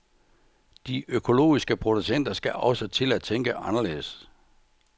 De økologiske producenter skal også til at tænke anderledes.